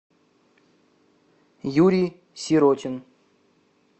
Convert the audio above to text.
юрий сиротин